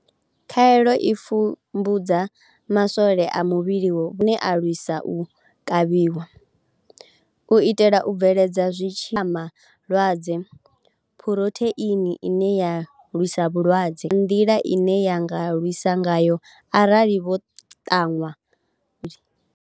Khaelo i pfumbudza maswole a muvhili wavho ane a lwisa u kavhiwa, u itela u bveledza zwithivhelama na lwadze Phurotheini ine ya lwisa vhulwadze, nga nḓila ine ya nga lwisa ngayo arali vho ṱanwa kha tshitzhili.